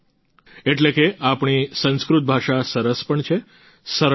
એટલે કે આપણી સંસ્કૃત ભાષા સરસ પણ છે સરળ પણ છે